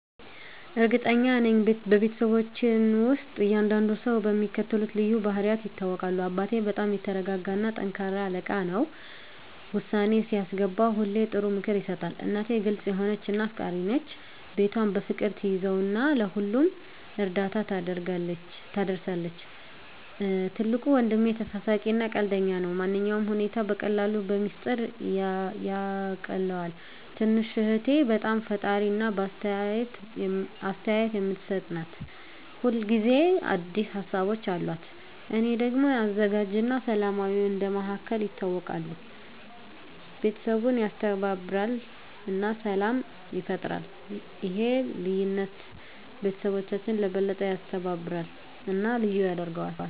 እርግጠኛ ነኝ፤ በቤተሰባችን ውስጥ እያንዳንዱ ሰው በሚከተሉት ልዩ ባህሪያት ይታወቃል - አባቴ በጣም የተረጋጋ እና ጠንካራ አለቃ ነው። ውሳኔ ሲያስገባ ሁሌ ጥሩ ምክር ይሰጣል። እናቴ ግልጽ የሆነች እና አፍቃሪች ናት። ቤቷን በፍቅር ትያዘው እና ለሁሉም እርዳታ ትደርሳለች። ትልቁ ወንድሜ ተሳሳቂ እና ቀልደኛ ነው። ማንኛውንም ሁኔታ በቀላሉ በሚስጥር ያቃልለዋል። ትንሽ እህቴ በጣም ፈጣሪ እና አስተያየት የምትሰጥ ናት። ሁል ጊዜ አዲስ ሀሳቦች አሉት። እኔ ደግሞ አዘጋጅ እና ሰላማዊ እንደ መሃከል ይታወቃለሁ። ቤተሰቡን ያስተባብራል እና ሰላም ይፈጥራል። ይህ ልዩነት ቤተሰባችንን የበለጠ ያስተባብራል እና ልዩ ያደርገዋል።